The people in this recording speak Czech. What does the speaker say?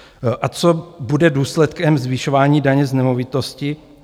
A co bude důsledkem zvyšování daně z nemovitosti?